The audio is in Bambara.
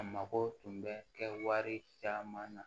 A mako tun bɛ kɛ wari caman na